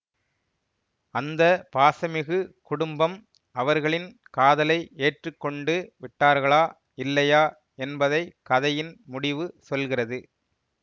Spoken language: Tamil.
அந்த பாசமிகு குடும்பம் அவர்களின் காதலை ஏற்று கொண்டு விட்டார்களா இல்லையா என்பதை கதையின் முடிவு சொல்கிறது